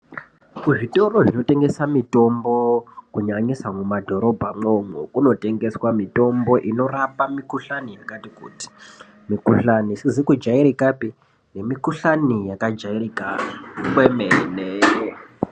Kuzvitoro zvinotengesa mitombo kunyanyisa mumadhorobho momo, kunotengeswa mitombo inorapa mikuhlane yakati kuti, mikuhlane isizi kujairikape nemikuhlani yakajairika kwemene.